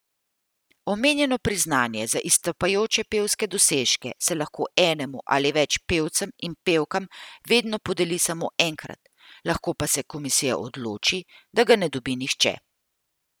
Omenjeno priznanje za izstopajoče pevske dosežke se lahko enemu ali več pevcem in pevkam vedno podeli samo enkrat, lahko pa se komisija odloči, da ga ne dobi nihče.